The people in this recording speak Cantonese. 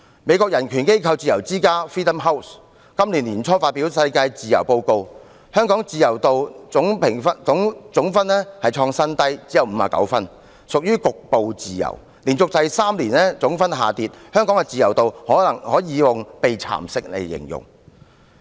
美國人權組織自由之家今年年初發表 "2018 年世界自由年度報告"，香港的自由總評分連續第三年下跌，今年再創新低，只有59分，屬於局部自由，香港的自由可以用"被蠶食"來形容。